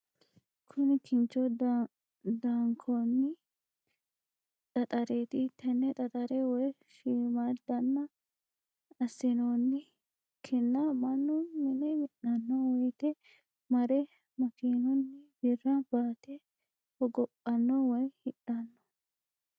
Kuni kincho daankonni xaxareeti, tene xaxare woyi shiimamadanna asinonni ki'na manu mine minanno woyite mare makinunni birra baate hogophanno woyi hidhanno